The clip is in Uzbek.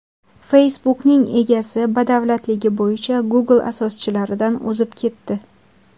Facebook’ning egasi badavlatligi bo‘yicha Google asoschilaridan o‘zib ketdi.